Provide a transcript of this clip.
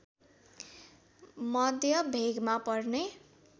मध्य भेगमा पर्ने